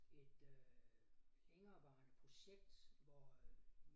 Et øh længerevarende projekt hvor øh